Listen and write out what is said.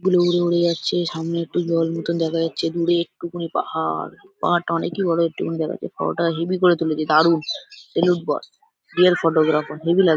উড়ে উড়ে যাচ্ছে সামনে একটু জল মতন দেখা যাচ্ছে দূরে একটুকনই পা-আ-হাড়। পাহাড়টা অনেকই বড় একটুকুন দেখা যায় পাহাড়টা হেভি করে তুলেছে দারুণ । Salute boss real photographer heavy লাগছে ।